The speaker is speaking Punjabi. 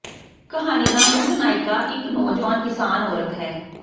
ਕਹਾਣੀ ਦਾ ਮੁੱਖ ਨਾਇਕਾ ਇਕ ਨੌਜਵਾਨ ਕਿਸਾਨ ਔਰਤ ਹੈ